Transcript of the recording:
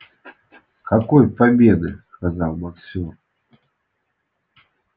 какой победы сказал боксёр